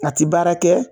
A ti baara kɛ